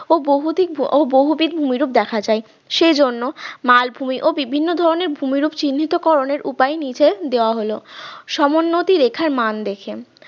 ও বহুবিধ বহুবিধ রূপ দেখা যায় সেজন্য মালভূমি ও বিভিন্ন ধরনের ভূমিরূপ চিহ্নিতকরণের উপায় নিচে দেওয়া হলো সমনোত্তির রেখার মান দেখে